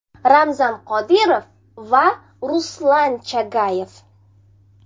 Ramzan Qodirov va Ruslan Chagayev.